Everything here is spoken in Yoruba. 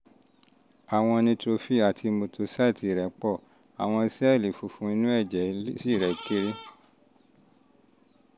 àwọn neutrophil àti monocyte rẹ pọ̀ àwọn sẹ́ẹ̀lì pọ̀ àwọn sẹ́ẹ̀lì funfun inú ẹ̀jẹ̀ lymphocyte rẹ́ sì kéré